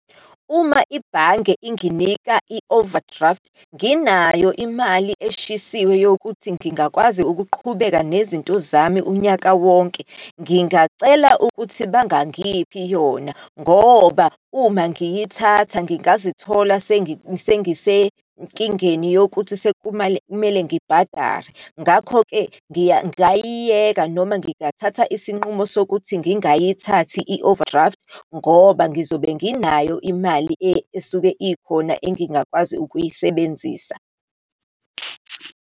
Uma ibhange inginika i-overdraft, nginayo imali eshisiwe yokuthi ngingakwazi ukuqhubeka nezinto zami unyaka wonke. Ngingacela ukuthi bangangiphi yona, ngoba uma ngiyithatha ngingazithola sengisenkingeni yokuthi sekumale, kumele ngibhadare. Ngakho-ke ngiya, ngayiyeka, noma ngingathatha isinqumo sokuthi ngingayithathi i-overdraft, ngoba ngizobe nginayo imali esuke ikhona engingakwazi ukuyisebenzisa.